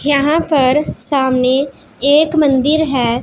यहां पर सामने एक मंदिर हैं।